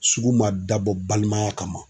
Sugu man dabɔ balimaya kama.